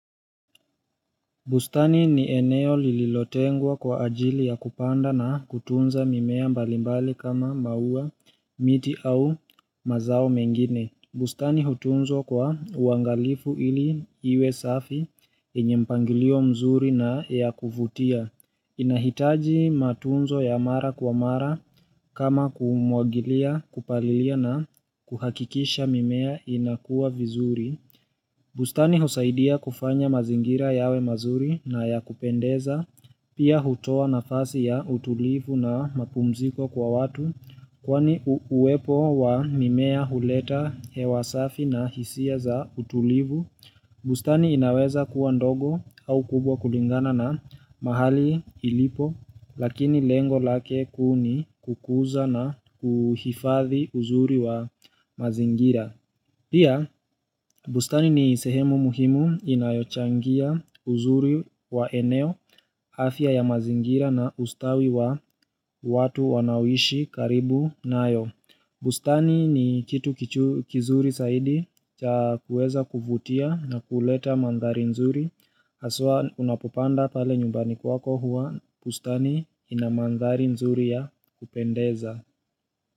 Bustani ni eneo lililotengwa kwa ajili ya kupanda na kutunza mimea mbalimbali kama maua, miti au mazao mengine. Bustani hutunzwa kwa uangalifu ili iwe safi enye mpangilio mzuri na ya kuvutia. Inahitaji matunzo ya mara kwa mara kama kumwagilia kupalilia na kuhakikisha mimea inakua vizuri. Bustani husaidia kufanya mazingira yawe mazuri na ya kupendeza, pia hutoa nafasi ya utulivu na mapumziko kwa watu, kwani uwepo wa mimea huleta hewa safi na hisia za utulivu. Bustani inaweza kuwa ndogo au kubwa kulingana na mahali ilipo, lakini lengo lake kuu ni kukuza na kuhifadhi uzuri wa mazingira. Pia, bustani ni sehemu muhimu inayochangia uzuri wa eneo, afya ya mazingira na ustawi wa watu wanaoishi karibu na yo. Bustani ni kitu kizuri saidi cha kueza kuvutia na kuleta mandhari nzuri. Haswa unapopanda pale nyumbani kwako huwa bustani ina mandhari nzuri ya kupendeza.